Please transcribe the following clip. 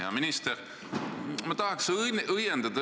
Hea minister!